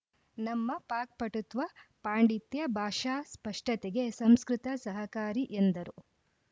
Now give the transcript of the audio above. ನಮ್ಮ ಪಾಕ್ಪಟುತ್ವ ಪಾಂಡಿತ್ಯ ಭಾಷಾ ಸ್ಪಷ್ಟತೆಗೆ ಸಂಸ್ಕೃತ ಸಹಕಾರಿ ಎಂದರು